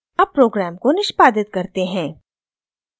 अब program को निष्पादित करते हैं